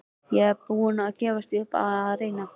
Ég er búinn að gefast upp á að reyna